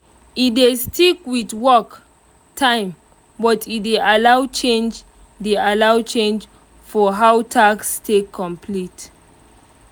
e dey stick with work time but e dey allow change dey allow change for how task take complete.